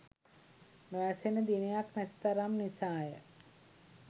නොඇසෙන දිනයක් නැති තරම් නිසාය